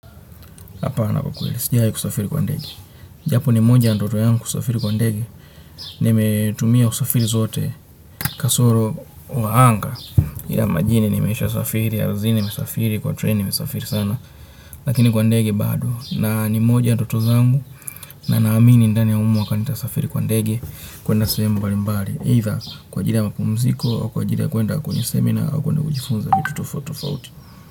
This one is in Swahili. Hapana kwa kweli sijawai kusafiri kwa ndege. Japo ni moja ya ndoto yangu kusafiri kwa ndege. Nimetumia usafiri zote kasoro wa anga. Ila majini nimesha safiri, ardhini, nimesafiri, kwa treni nimesafiri sana. Lakini kwa ndege bado. Na ni moja ya ndoto zangu. Na naamini ndani ya huu mwaka nitasafiri kwa ndege. Kuenda sehemu mbali mbali. Either kwa ajili ya mapumziko, au kwa ajili ya kuenda kwenye seminar, au kuenda kujifunza vitu tofauti tofauti.